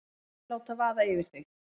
Ekki láta vaða yfir þig.